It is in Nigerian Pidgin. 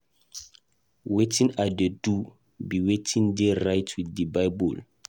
Wetin I dey do be wetin dey right with the bible